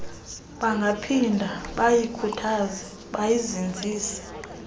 bangaphinda bayikhuthaze bayizinzise